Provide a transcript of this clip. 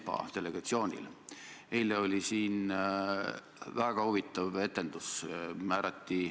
Kui opositsiooni juht on nii ütelnud, peab ta ka ise vastutust kandma.